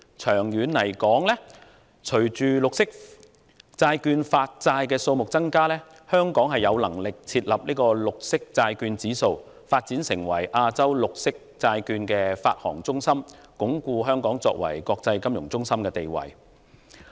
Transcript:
長遠而言，隨着綠色債券的發債數目增加，香港便有能力設立"綠色債券指數"，繼而發展成為亞洲綠色債券發行中心，進一步鞏固香港作為國際金融中心的地位。